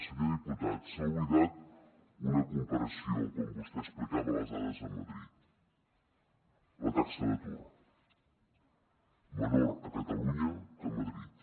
senyor diputat s’ha oblidat una comparació quan vostè explicava les dades a madrid la taxa d’atur menor a catalunya que a madrid